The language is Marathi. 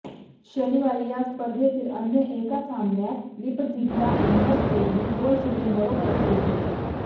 शनिवारी या स्पर्धेतील अन्य एका सामन्यात लिपझिगला इंग्लोस्टेडने गोलशून्य बरोबरीत रोखले